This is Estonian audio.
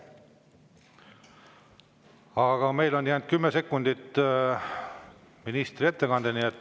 Aga meil on jäänud 10 sekundit.